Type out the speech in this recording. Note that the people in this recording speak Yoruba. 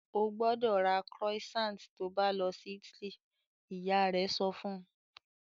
"Ó gbọ́dọ̀ ra croissant to bá lọ sí Italy!" Ìyá rẹ sọ fun